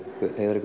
Heiðari